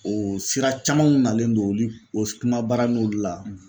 O sira camanw nalen don olu o kuma baranin olu la.